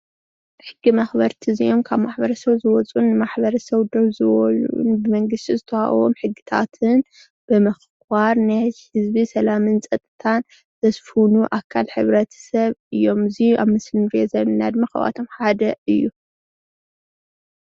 ሕጊ መክበርቲ እዚኦም ካብ ማሕበረ ሰብ ዝወፁን ንማሕበረ ሰብ ደው ዝበሉን ብመንግስቲ ዝተወሃቦም ሕግታትን ብምክባር ናይ ህዝቢ ሰላምን ፀፅታን ዘስፍኑ ኣካል ሕብረትሰብ እዮም፡፡ እዚ ኣብ ምስሊ እንሪኦ ዘለና ድማ ካብኣቶም ሓደ እዩ፡፡